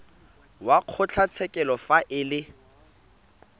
wa kgotlatshekelo fa e le